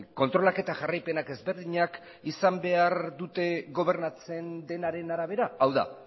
kontrolak eta jarraipenak ezberdinak izan behar dute gobernatzen denaren arabera hau da